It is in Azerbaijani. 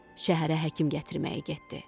Şəhərə həkim gətirməyə getdi.